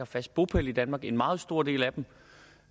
fast bopæl i danmark en meget stor del af dem